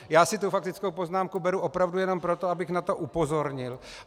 Já si tu faktickou poznámku beru opravdu jenom proto, abych na to upozornil.